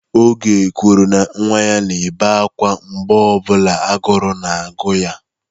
Oge kwuru na nwa ya na-ebe akwa mgbe ọ bụla agụụ na-agụ ya.